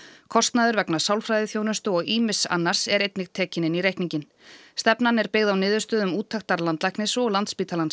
kostnaður vegna sálfræðiþjónustu og ýmiss annars er einnig tekinn inn í reikninginn stefnan er byggð á niðurstöðum úttektar landlæknis og Landspítalans